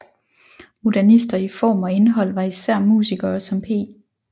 Modernister i form og indhold var især musikere som P